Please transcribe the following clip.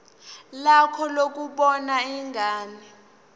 lakho lokubona ingane